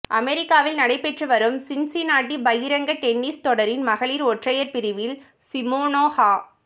அமெரிக்காவில் நடைபெற்றுவரும் சின்சினாட்டி பகிரங்க டென்னிஸ் தொடரின் மகளிர் ஒற்றையர் பிரிவில் சிமோனா ஹ